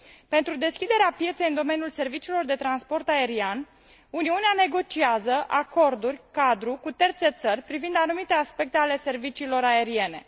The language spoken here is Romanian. Pentru deschiderea pieței pentru domeniul serviciilor de transport aerian Uniunea negociază acorduri cadru cu terțe țări privind anumite aspecte ale serviciilor aeriene.